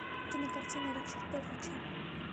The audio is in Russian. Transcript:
кинокартина ричарда рича